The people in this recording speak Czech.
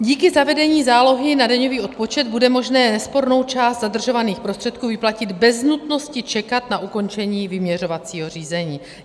Díky zavedení zálohy na daňový odpočet bude možné nespornou část zadržovaných prostředků vyplatit bez nutnosti čekat na ukončení vyměřovacího řízení.